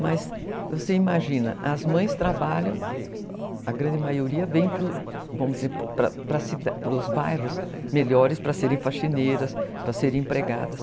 Mas você imagina, as mães trabalham, a grande maioria vem para os bairros melhores para serem faxineiras, para serem empregadas.